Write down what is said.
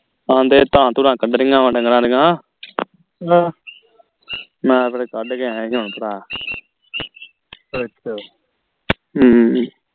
ਹਾਂ ਤੇ ਧਾਰਾਂ ਧੁਰਾਂ ਕੱਢ ਰਹੀਆਂ ਵਾ ਢੰਗਰਾਂ ਦੀਆਂ ਮੈਂ ਫੇਰ ਕੱਢ ਕੇ ਆਈਆਂ ਕੇ ਹੁਣ ਭਰਾ ਅੱਛਾ ਹਮ